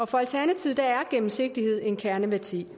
for alternativet er gennemsigtighed en kerneværdi